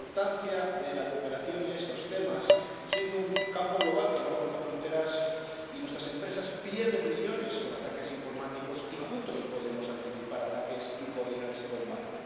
Es importante cooperar en estos temas, por ser un campo global que no conoce fronteras, y porque nuestras empresas pierden millones con ataques informáticos, y juntos podemos anticipar ataques y coordinar ese combate.